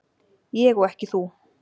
Ég og ekki þú.